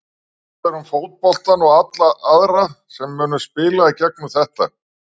Hvað verður með fótboltann og alla aðra sem myndu spila í gegnum þetta?